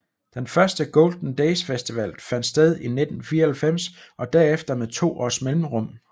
Den første Golden Days festival fandt sted i 1994 og derefter med to års mellemrum